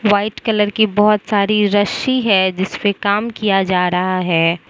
White colour की बहुत सारी रस्सी है जिस पे काम किया जा रहा है।